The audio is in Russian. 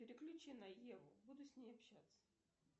переключи на еву буду с ней общаться